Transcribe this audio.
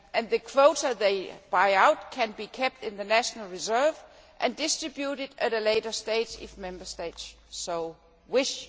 The quota they buy out can be kept in the national reserve and distributed at a later stage if Member States so wish.